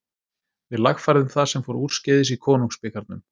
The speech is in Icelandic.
Við lagfærðum það sem fór úrskeiðis í konungsbikarnum.